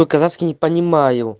по-казахски не понимаю